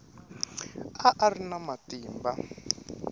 a a ri na matimba